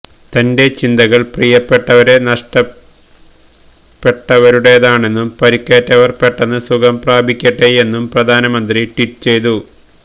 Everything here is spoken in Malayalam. തന്റെ ചിന്തകള് പ്രിയപ്പെട്ടവരെ നഷ്ടപ്പെട്ടവരുടേതാണെന്നും പരിക്കേറ്റവര് പെട്ടെന്ന് സുഖം പ്രാപിക്കട്ടെയെന്നും പ്രധാനമന്ത്രി ട്വീറ്റ് ചെയ്തു